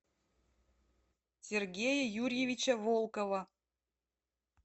сергея юрьевича волкова